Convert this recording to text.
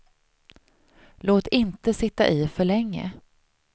Låt inte sitta i för länge.